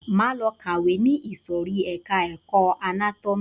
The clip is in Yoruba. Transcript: Máa lọ kàwé ni ìsòrí ẹka ẹ̀kọ́ anátómì.